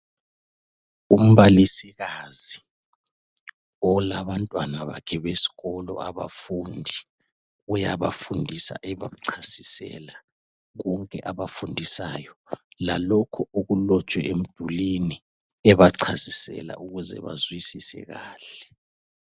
Umbalisikazi olabantwana bakhe besikolo abafundi , uyabafundisa ebachasisela konke abakufundayo lalokhu okulotshwe emdulini ukuze bazwisise kahle.